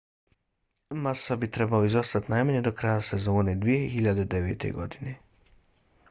massa bi trebao izostati najmanje do kraja sezone 2009. godine